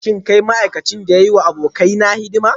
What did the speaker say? Shin kai ma'aikacin da ya yi wa abokaina hidima?